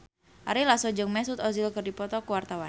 Ari Lasso jeung Mesut Ozil keur dipoto ku wartawan